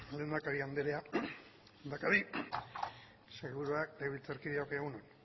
lehendakari andrea lehendakari sailburuak legebiltzarkideok egun on